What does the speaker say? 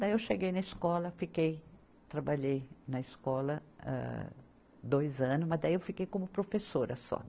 Daí eu cheguei na escola, fiquei, trabalhei na escola, âh dois anos, mas daí eu fiquei como professora só.